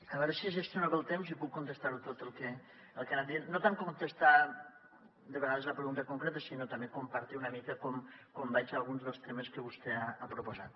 a veure si gestiono bé el temps i puc contestar tot el que ha anat dient no tant contestar de vegades a la pregunta concreta sinó també compartir una mica com veig alguns dels temes que vostè ha proposat